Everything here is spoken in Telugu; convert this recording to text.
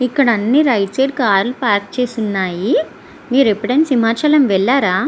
ఇక్కడ అన్ని రైట్సైడ్ అని కార్ లు పార్క్ చేసి వున్నాయ్ మీరు ఎప్పుడు ఆయన సింహాచలం వెళ్ళారా --